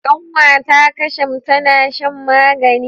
Kanwata Kasham tana shan magani.